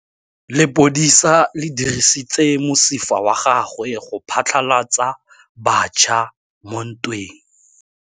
Lepodisa le dirisitse mosifa wa gagwe go phatlalatsa batšha mo ntweng.